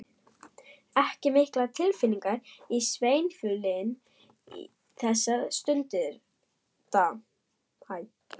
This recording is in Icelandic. Ekki miklar tilfinningar í sveiflunni þessa stundina.